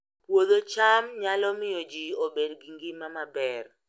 Puodho cham nyalo miyo ji obed gi ngima maber